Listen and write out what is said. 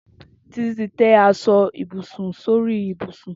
Titi ti tẹ̀ aṣọ ibúsún sóri ibúsún